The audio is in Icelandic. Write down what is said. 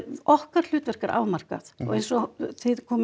okkar hlutverk er afmarkað og eins og þið komuð